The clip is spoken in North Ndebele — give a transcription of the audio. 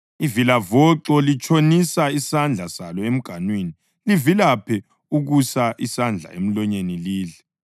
Ivilavoxo litshonisa isandla salo emganwini; livilaphe ukusa isandla emlonyeni lidle.